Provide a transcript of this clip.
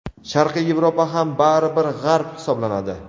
Sharqiy Yevropa ham bari bir G‘arb hisoblanadi.